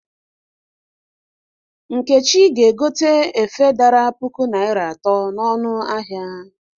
Nkechi ga-egote efe dara puku naịra atọ n'ọnụ ahịa.